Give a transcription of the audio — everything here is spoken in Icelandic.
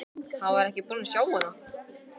Hann var ekki búinn að sjá hana.